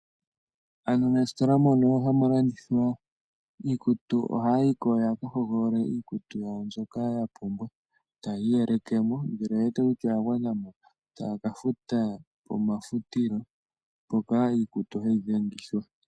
Aantu mositola moka haa mulandithwa iikutu ohaya yiko ya ka hogolole iikutu ya wo mbyoka ya pumwa e taa yi iyeleke mo ngele oye wete kutya oyagwanamo e taya kafuta omafutilo mpoka iikutu hayi dhengithwa.